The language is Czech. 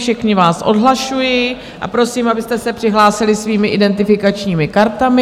Všechny vás odhlašuji a prosím, abyste se přihlásili svými identifikačními kartami.